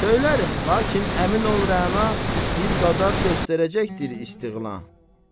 Söylərəm, lakin əmin ol Rəna, bir qadər göstərəcəkdir istiğla.